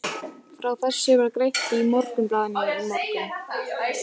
Frá þessu var greint í Morgunblaðinu í morgun.